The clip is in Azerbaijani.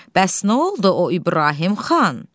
Bəs nə oldu o İbrahim xan?